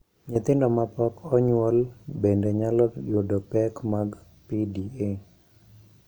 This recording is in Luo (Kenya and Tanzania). Nyithindo ma pok onyuol bende nyalo yudo pek mag PDA.